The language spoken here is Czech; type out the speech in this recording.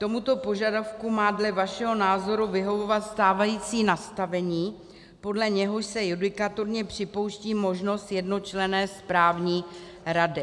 Tomuto požadavku má dle vašeho názoru vyhovovat stávající nastavení, podle něhož se judikatorně připouští možnost jednočlenné správní rady.